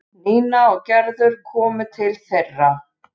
Nína og Gerður komu til þeirra.